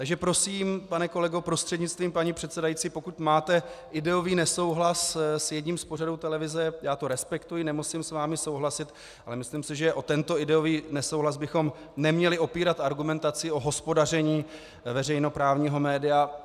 Takže prosím, pane kolego prostřednictvím paní předsedající, pokud máte ideový nesouhlas s jedním z pořadů televize, já to respektuji, nemusím s vámi souhlasit, ale myslím si, že o tento ideový nesouhlas bychom neměli opírat argumentaci o hospodaření veřejnoprávního média.